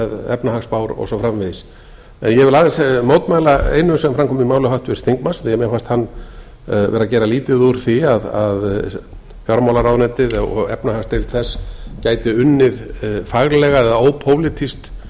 efnahagsspár og svo framvegis ég vil aðeins mótmæla einu sem fram kom í máli háttvirts þingmanns því að mér fannst hann vera að gera lítið úr því að fjármálaráðuneytið og efnahagsdeild þess gæti unnið faglega eða ópólitískt